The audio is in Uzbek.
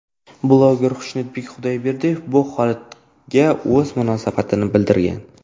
Bloger Xushnudbek Xudoyberdiyev bu holatga o‘z munosabatini bildirgan.